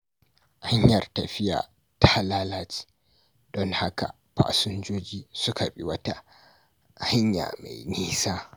Hanyar tafiya ta lalace, don haka fasinjoji suka bi wata hanya mai nisa.